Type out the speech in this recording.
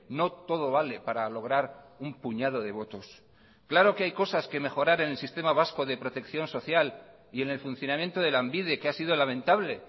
no todo vale para lograr un puñado de votos claro que hay cosas que mejorar en el sistema vasco de protección social y en el funcionamiento de lanbide que ha sido lamentable